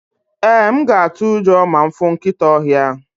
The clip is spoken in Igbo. ee, m ga atu ujo ma m fu nkita ohia